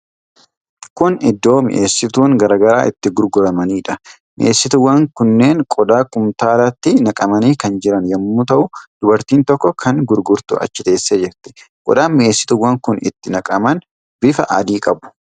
Kun iddoo mi'eessituun garaa garaa itti gurguramanidha. Mi'eessituuwwan kunneen qodaa kumtaalatti naqamanii kan jiran yommuu ta'u, dubartiin tokko kan gurgurtu achi teessee jirti. qodaan mi'eessituuwwan kun itti naqaman bifa adii qabu.